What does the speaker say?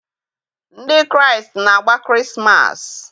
Ndị Kraịst na-agba Krismas.